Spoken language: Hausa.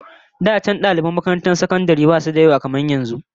Da can daliban makarantun sakandare basu da yawa kamar yanzu